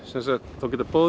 þá geta báðir